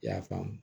I y'a faamu